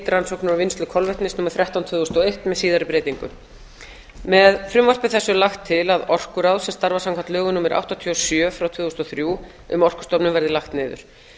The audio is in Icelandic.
rannsóknir og vinnslu kolvetnis númer þrettán tvö þúsund og eitt með síðari breytingum með frumvarpi þessu er lagt til að orkuráð sem starfar samkvæmt lögum númer áttatíu og sjö tvö þúsund og þrjú um orkustofnun verði lagt niður